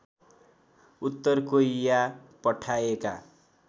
उत्तर कोरिया पठाएका